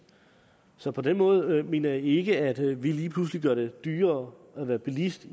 så på den måde mener jeg ikke at vi lige pludselig gør det dyrere at være bilist